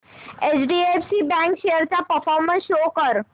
HDFC bank shares चा performance show कर